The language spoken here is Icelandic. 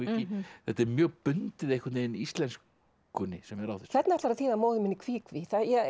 þetta er mjög bundið íslenskunni sem er á þessu hvernig ætlarðu að þýða móðir mín í kví kví